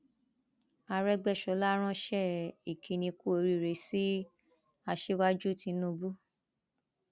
àrògbéṣọlá ránṣẹ ìkíní kù oríire sí aṣíwájú tìǹbù